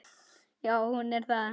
Já, hún er það.